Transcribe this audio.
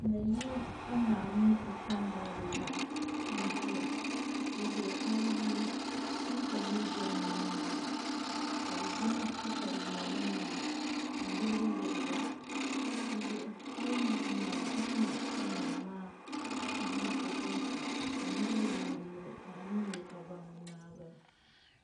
Nayili ka naa mini o kpambalibi laɣam n ʒiya dizuɣu ayi yuli wuntaŋ ni bɛ nimaani maa ka bi zaŋ katawiya nim maa n yirigi yirigi dizuɣu a yi yuli bin maa ni a ni nyɛ ka naa maa ʒi o konko ka niraba lee bi miro ka a ni nyɛ o ka baŋ ni naa n bala